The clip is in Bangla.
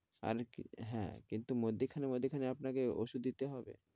পানি কি হ্যাঁ কিন্তু মধ্যেখানে মধ্যেখানে আপনাকে ঔষুধ দিতে হবে।